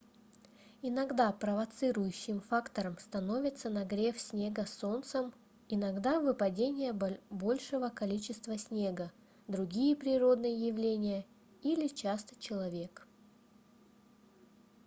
иногда провоцирующим фактором становится нагрев снега солнцем иногда выпадение большего количества снега другие природные явления или часто человек